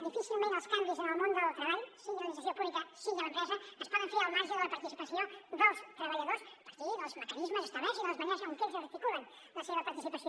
difícilment els canvis en el món del treball sigui a l’administració pública sigui a l’empresa es poden fer al marge de la participació dels treballadors a partir dels mecanismes establerts i de les maneres amb què ells articulen la seva participació